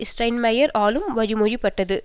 Steinmeier ஆலும் வழிமொழியப்பட்டது